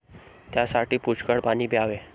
त्यासाठी पुष्कळ पाणी प्यावे.